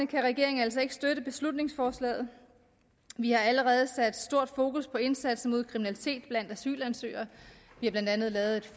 kan regeringen altså ikke støtte beslutningsforslaget vi har allerede sat stort fokus på indsatsen mod kriminalitet blandt asylansøgere vi har blandt andet lavet